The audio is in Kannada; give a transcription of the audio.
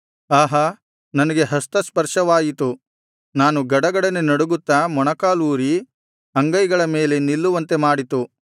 ಆಹಾ ನನಗೆ ಹಸ್ತಸ್ಪರ್ಶವಾಯಿತು ನಾನು ಗಡಗಡನೆ ನಡುಗುತ್ತಾ ಮೊಣಕಾಲೂರಿ ಅಂಗೈಗಳ ಮೇಲೆ ನಿಲ್ಲುವಂತೆ ಮಾಡಿತು